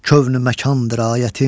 Kövn-ü məkandır ayətim.